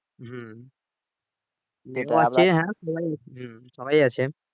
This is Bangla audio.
হম হম সবাই আছে